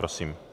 Prosím.